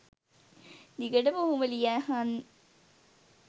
දිගටම ඔහොම ලියහන්